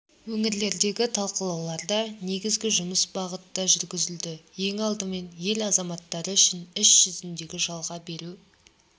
өңірлердегі талқылауларда негізгі жұмыс бағытта жүргізілді ең алдымен ел азаматтары үшін іс жүзіндегі жалға беру